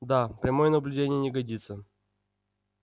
да прямое наблюдение не годится